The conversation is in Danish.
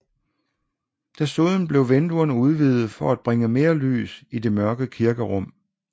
Desuden blev vinduerne udvidede for at bringe mere lys i det mørke kirkerum